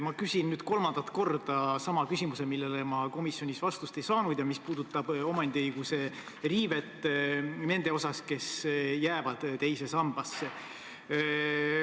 Ma küsin nüüd kolmandat korda sama küsimuse, millele ma komisjonis vastust ei saanud ja mis puudutab omandiõiguse riivet nende puhul, kes jäävad teise sambasse.